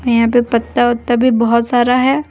यहां पे पत्ता वात्ता भी बहोत सारा है।